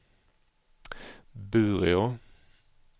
Bureå